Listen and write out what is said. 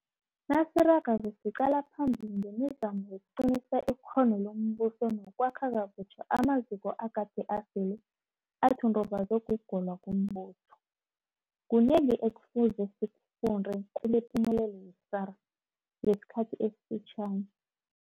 Nasiragako siqala phambili ngemizamo yokuqinisa ikghono lombuso nokwakha kabutjha amaziko agade asele athundubazwe kugolwa kombuso, kunengi ekufuze sikufunde kilepumelelo ye-SARS ngesikhathi esifitjhani.